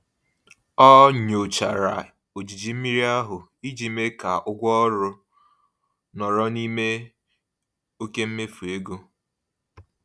Ọ nyochara ojiji mmiri ahụ iji mee ka ụgwọ ọrụ nọrọ n'ime oke mmefu ego.